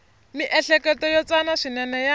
miehleketo yo tsana swinene ya